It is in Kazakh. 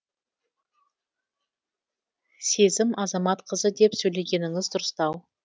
сезім азаматқызы деп сөйлегеніңіз дұрыстау